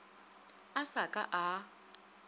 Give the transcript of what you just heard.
a sa ka a a